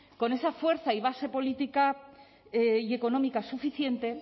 con esa fuerza y base política y económica suficiente